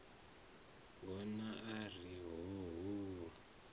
hona a ri hoo hoo